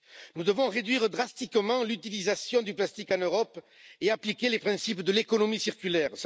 Nous devons réduire drastiquement l'utilisation du plastique en Europe et appliquer les principes de l'économie circulaire.